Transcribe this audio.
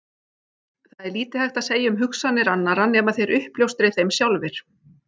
Það er lítið hægt að segja um hugsanir annarra nema þeir uppljóstri þeim sjálfir.